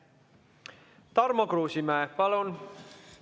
Tarmo Kruusimäe, palun!